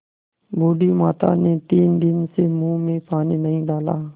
बूढ़ी माता ने तीन दिन से मुँह में पानी नहीं डाला